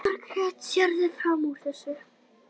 Margrét: Sérðu fram úr þessu?